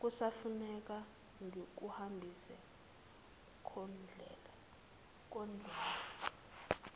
kusafuneka ngikuhambise kondlela